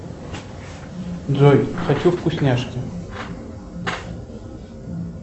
джой хочу вкусняшки